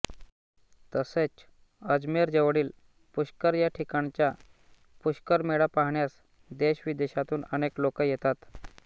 तसेच अजमेरजवळील पुष्कर या ठिकाणचा पुष्कर मेळा पाहण्यास देशविदेशातून अनेक लोक येतात